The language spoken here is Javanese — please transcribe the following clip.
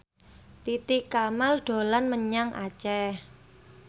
Titi Kamal dolan menyang Aceh